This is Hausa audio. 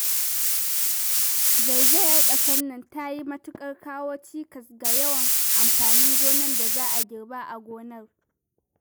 Zaizayar ƙasar nan ta yi matuƙar kawo cikas ga yawan amfanin gonan da za a girba a gonar